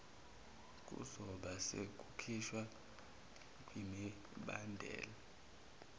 kuzobe sekukhishwa kwimibandela